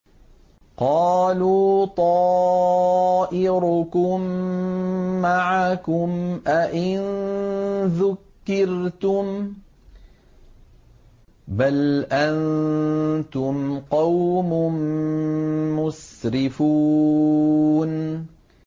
قَالُوا طَائِرُكُم مَّعَكُمْ ۚ أَئِن ذُكِّرْتُم ۚ بَلْ أَنتُمْ قَوْمٌ مُّسْرِفُونَ